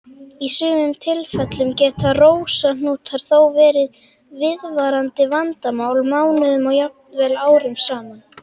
Í sumum tilfellum geta rósahnútar þó verið viðvarandi vandamál mánuðum og jafnvel árum saman.